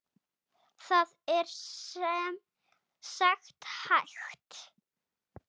Það er sem sagt hægt.